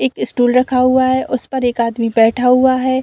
एक स्टूल रखा हुआ है उस पर एक आदमी बैठा हुआ है।